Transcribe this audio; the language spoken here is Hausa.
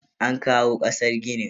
An kawo kasar ginin.